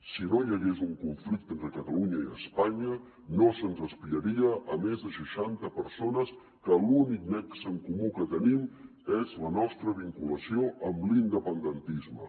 si no hi hagués un conflicte entre catalunya i espanya no se’ns espiraria a més de seixanta persones que l’únic nexe en comú que tenim és la nostra vinculació amb l’independentisme